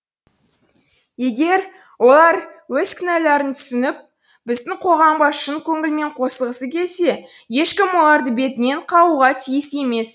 егер олар өз кінәларың түсініп біздің қоғамға шын көңілмен қосылғысы келсе ешкім оларды бетінен қағуға тиіс емес